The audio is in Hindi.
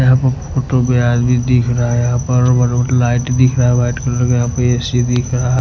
यहाँ पर भीं दिख रहा हैं यहाँ पर लाइट दिख रहा हैं व्हाइट कलर का यहाँ पे ए_सी दिख रहा--